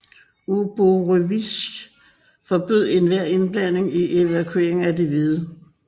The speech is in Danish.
Uborevitj forbød enhver indblanding i evakueringen af de hvide